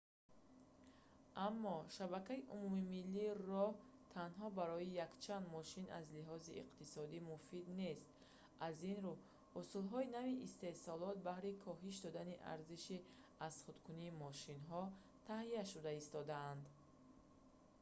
аммо шабакаи умумимиллии роҳ танҳо барои якчанд мошин аз лиҳози иқтисодӣ муфид нест аз ин рӯ усулҳои нави истеҳсолот баҳри коҳиш додани арзиши азхудкунии мошинҳо таҳия шуда истодаанд